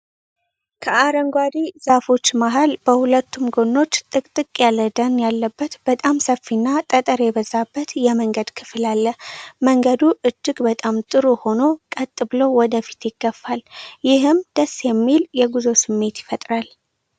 ከአረንጓዴ ዛፎች መሃል፣ በሁለቱም ጎኖች ጥቅጥቅ ያለ ደን ያለበት በጣም ሰፊና ጠጠር የበዛበት የመንገድ ክፍል አለ። መንገዱ እጅግ በጣም ጥሩ ሆኖ ቀጥ ብሎ ወደ ፊት ይገፋል። ይህም ደስ የሚል የጉዞ ስሜት ይፈጥራል።